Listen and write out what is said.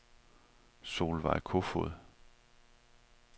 Solveig Kofod